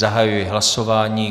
Zahajuji hlasování.